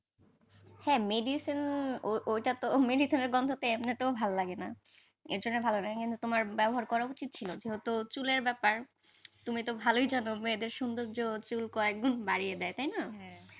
হ্যাঁ medicine ও ওটা তো medicine এর গন্ধ এমনিতেও ভালো লাগেনা, এর জন্য ভালো লাগেনা তোমার ব্যবহার করা উচিত ছিল, যেহেতু চুলের ব্যাপার, তুমি তো ভালোই জান মেয়েদের সৌন্দর্য চুল কয়েকগুণ বাড়িয়ে দেয় তাই না